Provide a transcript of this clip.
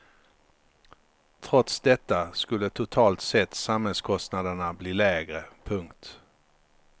Trots detta skulle totalt sett samhällskostnaderna bli lägre. punkt